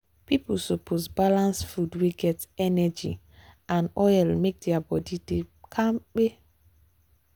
people suppose balance food wey get energy and oil make their body dey kampe.